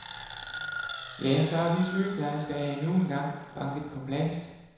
Ja, så er vi sygeplejersker endnu en gang banket på plads.